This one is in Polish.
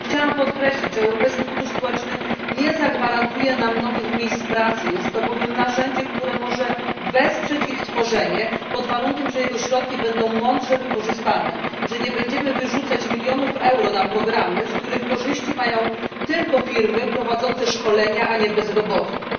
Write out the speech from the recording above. Chciałam podkreślić, że Europejski Fundusz Społeczny nie zagwarantuje nam nowych miejsc pracy, jest to bowiem narzędzie, które może wesprzeć ich tworzenie, pod warunkiem że jego środki będą mądrze wykorzystane, że nie będziemy wyrzucać milionów euro na programy, z których korzyści mają tylko firmy prowadzące szkolenia, a nie bezrobotni,